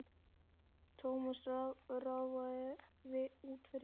Thomas ráfaði út fyrir.